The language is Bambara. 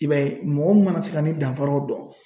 I b'a ye mɔgɔ min mana se ka ni danfaraw dɔn